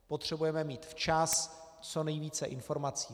Potřebujeme mít včas co nejvíce informací.